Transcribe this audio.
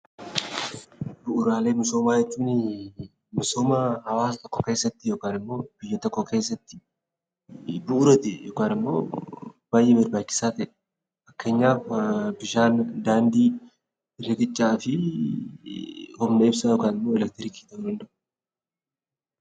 Bu'uuraalee misoomaa jechuun misooma hawaasa tokko keessatti yookaan immoo biyya tokko keessatti bu'uura ta'e yookaan immoo baay'ee barbaachisaa ta'e. Fakkeenyaaf bishaan, daandii, riqichaa fi humna ibsaa yookiin immoo elektiriikii ta'uu danda'u